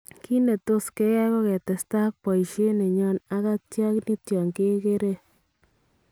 Kiit netos keyai ko ketestai ak boisyeet nenyon ak atya nito Kekeree